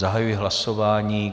Zahajuji hlasování.